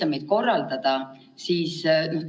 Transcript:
Aga tegelikult mind huvitab, mis siis saab ülikooli sisseastumistest.